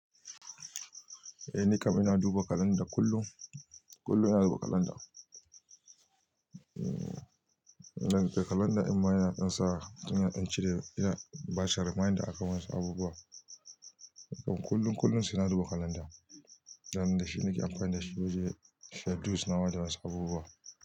Eh nikam ina duba kalanda kullum, kullum ina duba kalanda. Kalanda amma yana sa yana cire yana bashi reminder akan wasu abubuwa. Nikam kullum, kullum sai na duba kalanda. Dan da shi nake amfani da shi don schedules na waɗansu abubuwa.